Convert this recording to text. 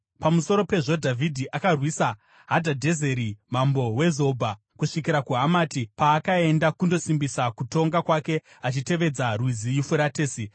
Pamusoro pezvo Dhavhidhi akarwisa Hadhadhezeri mambo weZobha kusvikira kuHamati, paakaenda kundosimbisa kutonga kwake achitevedza Rwizi Yufuratesi.